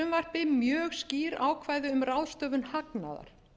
í þessu frumvarpi mjög skýr ákvæði um ráðstöfun hagnaðar